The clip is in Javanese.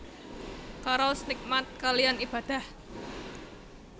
Karaos nikmat kaliyan Ibadah